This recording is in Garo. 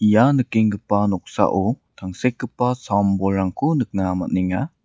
ia nikenggipa noksao tangsekgipa sam-bolrangko nikna man·enga.